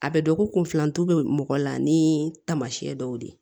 A bɛ dɔn ko kunfilan to bɛ mɔgɔ la ni taamasiyɛn dɔw ye